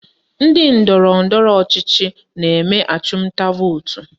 Ndị ndọrọndọrọ ọchịchị na-eme achụmnta vootu